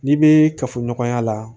N'i bɛ kafoɲɔgɔnya la